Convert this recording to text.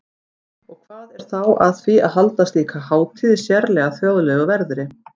Og hvað er þá að því að halda slíka hátíð í sérlega þjóðlegu veðri?